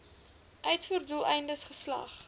uitvoer doeleindes geslag